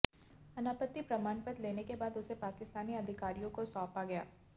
अनापत्ति प्रमाणपत्र लेने के बाद उसे पाकिस्तानी अधिकारियों को सौंपा गया